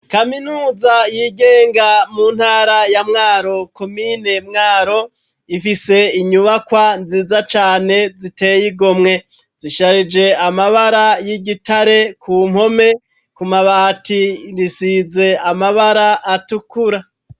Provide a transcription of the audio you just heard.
kaminuza yigenga mu ntara ya Mwaro komine Mwaro ifise inyubakwa nziza cane ziteye igomwe zisharije amabara y'igitare ku mpome ku mabati risize amabara atukura.